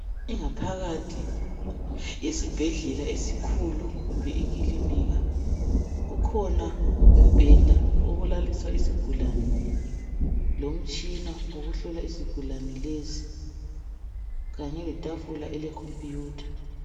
ingaphakathi yesibhedlela esikhulu kumbe ikilinika kukhona umbheda wokulalisa isigulane lomtshina wokuhlola isigulane lesi kanye letafula ele computer